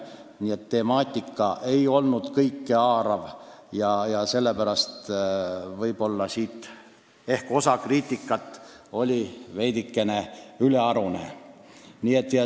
Nii et tegu ei olnud kõikehaarava temaatikaga, mispärast oli ehk osa kriitikast veidi ülearune.